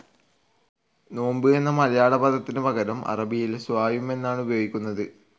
നോമ്പ് എന്ന മലയാള പദത്തിന് പകരം അറബിയിൽ സ്വായും എന്നാണ് ഉപയോഗിക്കുന്നത്.